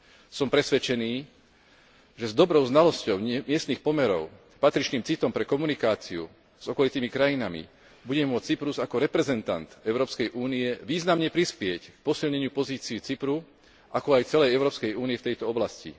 Som presvedčený, že s dobrou znalosťou miestnych pomerov, patričným citom pre komunikáciu s okolitými krajinami, bude môcť Cyprus ako reprezentant Európskej únie významne prispieť k posilneniu pozície Cypru, ako aj celej Európskej únie v tejto oblasti.